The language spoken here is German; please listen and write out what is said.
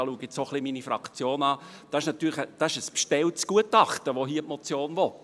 Was die Motion will, ist ein bestelltes Gutachten – und da blicke ich jetzt auch zu meiner Fraktion.